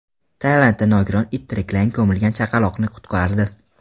Tailandda nogiron it tiriklayin ko‘milgan chaqaloqni qutqardi.